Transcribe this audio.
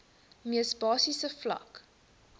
mees basiese vlak